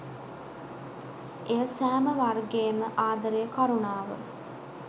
එය සෑම වර්ගයේම ආදරය කරුණාව